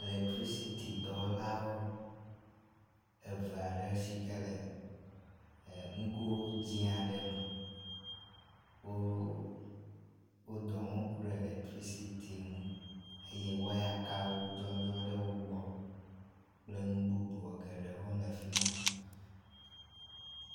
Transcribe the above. Letricity dɔwɔlawo eve aɖe si ke le enugo dzi aɖe me wo dɔwɔm ku ɖe lectricity ŋu eye wayakawo gbɔdzɔ ɖe wpogbɔ kple nu bubu gewo le fi ma.